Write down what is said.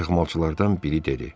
Qaçıqmalçılardan biri dedi.